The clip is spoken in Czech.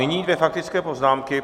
Nyní dvě faktické poznámky.